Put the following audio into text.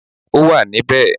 Ó wà níbẹ̀.